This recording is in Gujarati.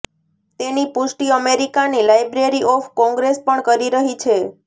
તેની પુષ્ટિ અમેરિકા ની લાયબ્રેરી ઓફ કોંગ્રેસ પણ કરી રહી છે